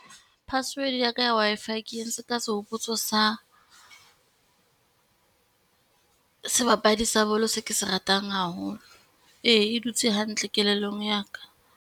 Password ya ka ya Wi-Fi ke entse ka sehopotso sa sebapadi sa bolo seo ke se ratang haholo. Ee e dutse hantle kelellong ya ka.